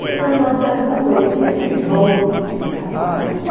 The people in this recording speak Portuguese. E na nossa rua tinha esse jogo que tinha os rapazes, né?